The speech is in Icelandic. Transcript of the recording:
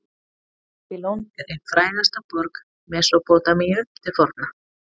babýlon er ein frægasta borg mesópótamíu til forna